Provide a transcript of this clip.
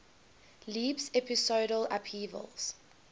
leaps episodal upheavals